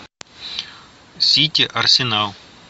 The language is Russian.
сити арсенал